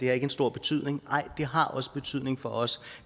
har en stor betydning nej det har også betydning for os